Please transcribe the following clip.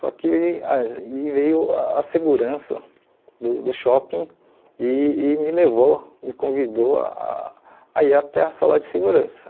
Só que aí veio a segurança do do shopping e e me levou, me convidou a a ir até a sala de segurança.